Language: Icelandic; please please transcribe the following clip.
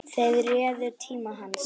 Þeir réðu tíma hans.